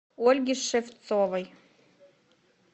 ольге шевцовой